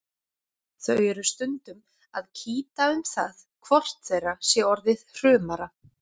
Þau eru stundum að kýta um það hvort þeirra sé orðið hrumara.